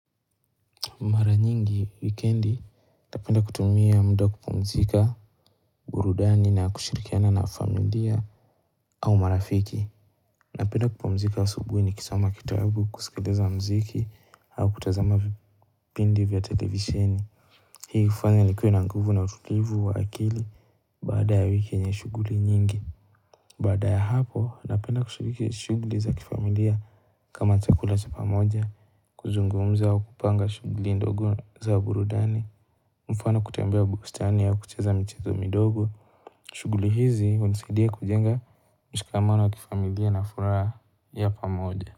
Mara nyingi wikendi, napenda kutumia mda kupumzika burudani na kushirikiana na familia au marafiki. Napenda kupumzika asubuhi ni kisoma kitabu kusikiliza mziki au kutazama vipindi vya televisheni. Hii hufanya nikue na nguvu na utulivu wa akili baada ya wiki enye shuguli nyingi. Baada ya hapo, napenda kushiriki shuguli za kifamilia kama chakula cha pamoja kuzungumza au kupanga shuguli ndogo za burudani. Mfano kutembea bustani au kucheza michezo midogo shuguli hizi hunisidia kujenga mshikamano wa kifamilia nafuraha ya pamoja.